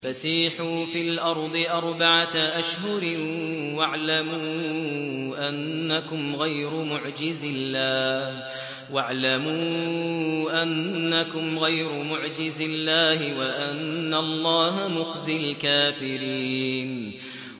فَسِيحُوا فِي الْأَرْضِ أَرْبَعَةَ أَشْهُرٍ وَاعْلَمُوا أَنَّكُمْ غَيْرُ مُعْجِزِي اللَّهِ ۙ وَأَنَّ اللَّهَ مُخْزِي الْكَافِرِينَ